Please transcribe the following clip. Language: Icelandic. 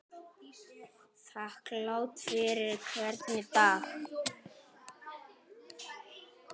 Þakklát fyrir hvern dag.